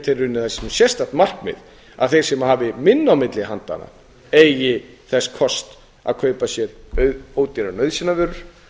að það sé sérstakt markmið að þeir sem hafi minna á milli handanna eigi þess kost að kaupa sér ódýrar nauðsynjavörur